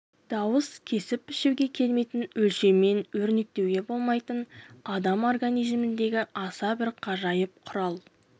дауыс кесіп-пішуге келмейтін өлшеммен өрнектеуге болмайтын адам организміндегі аса бір ғажайып құрал